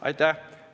Aitäh!